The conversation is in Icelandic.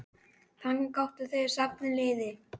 Þangað gátu þeir safnað liði.